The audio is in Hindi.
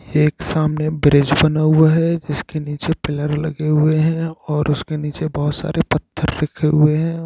एक सामने ब्रिज बना हुआ है जिस के नीचे पिलर लगे हुए है और उसके नीचे बहुत सारे पत्थर रखे हुए है।